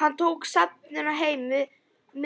Hann tók stefnuna heim